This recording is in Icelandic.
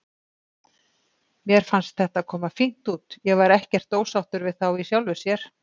Mér fannst þetta koma fínt út, ég var ekkert ósáttur við þá í sjálfu sér.